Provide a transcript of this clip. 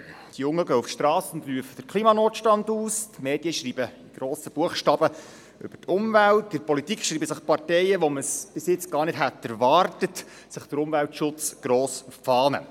Die Jungen gehen auf die Strasse und rufen den Klimanotstand aus, die Medien schreiben in grossen Buchstaben über die Umwelt, in der Politik schreiben sich die Parteien, von denen man es bis jetzt gar nicht erwartet hätte, den Umweltschutz auf die Fahnen.